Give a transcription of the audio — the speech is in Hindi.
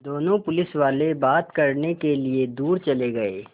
दोनों पुलिसवाले बात करने के लिए दूर चले गए